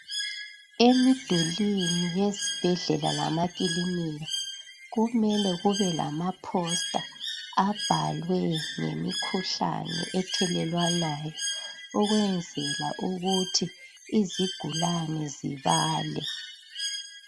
Emidulini yezibhedlela lemakilinika kumele kube lama (poster) abhalwe ngemikhuhlane ethelelwanayo ukwenzela ukuthi izigulane zibale.